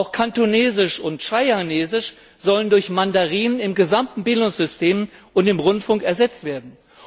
Auch Kantonesisch und Shanghainesisch sollen durch Mandarin im gesamten Bildungssystem und im Rundfunk ersetzt werden.